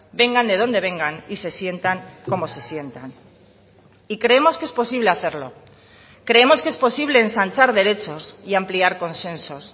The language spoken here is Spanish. vengan de donde vengan y se sientan como se sientan y creemos que es posible hacerlo creemos que es posible ensanchar derechos y ampliar consensos